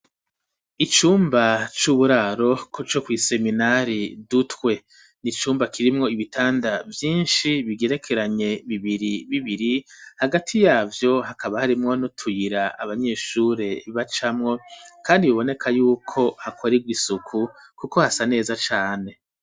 Icumba c'uburaro co kw'iseminari Dutwe n'icumba kirimwo ibitanda vyishi bigerekeranye bibiri bibiri hagati yavyo hakaba harimwo n'utuyira abanyeshure bacamwo kandi boneka yuko hakorerwa isuku kuko hasa neza cane.